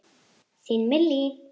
Þín Millý.